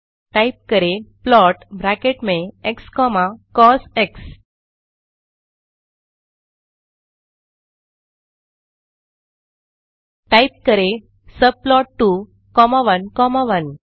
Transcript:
type करें plot bracket में x comma cos type करें सबप्लॉट 2 कॉमा 1 कॉमा 1